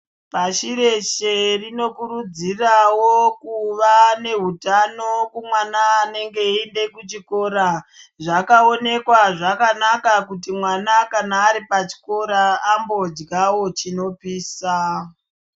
Pashi reshe rinokuridziravo kuva nehutano kumwana anenge eiende kuchikora. Zvakaonekwa zvakanaka kuti mwana kana ari pachikora ambodyavo chinopisa.